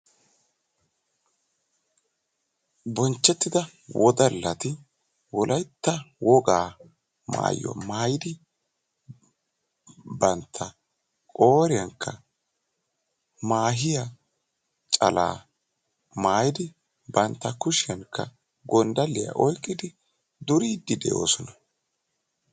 Bonchchettidda wodalatti wogaa maayuwa maayiddi maahiya calaa maayiddi gonddalliya oyqqiddi duriddi beetosonna.